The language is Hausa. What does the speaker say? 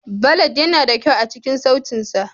Ballad yana da kyau a cikin sautin sa.